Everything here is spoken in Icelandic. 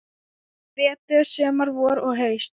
Vetur, sumar, vor og haust.